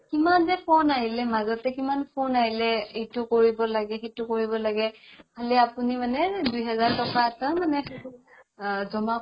কিমান যে phone আহিলে মাজতে phone আহিলে এইটো কৰিব লাগে সেইটো কৰিব লাগে আপুনি মানে দুই হাজাৰ তকা এটা মানে আ জমা কৰিব লাগে